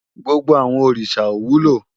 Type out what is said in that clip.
Gbógbó àwòn órisá ó wúló